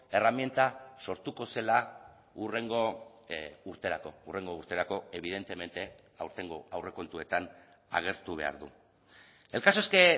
erreminta sortuko zela hurrengo urterako hurrengo urterako evidentemente aurtengo aurrekontuetan agertu behar du el caso es que